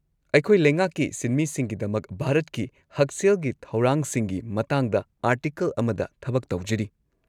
ꯑꯩꯈꯣꯏ ꯂꯩꯉꯥꯛꯀꯤ ꯁꯤꯟꯃꯤꯁꯤꯡꯒꯤꯗꯃꯛ ꯚꯥꯔꯠꯀꯤ ꯍꯛꯁꯦꯜꯒꯤ ꯊꯧꯔꯥꯡꯁꯤꯡꯒꯤ ꯃꯇꯥꯡꯗ ꯑꯥꯔꯇꯤꯀꯜ ꯑꯃꯗ ꯊꯕꯛ ꯇꯧꯖꯔꯤ ꯫